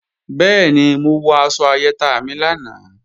Bẹ́ẹ̀ni, mo wọ aṣọ ayẹta mi lánàá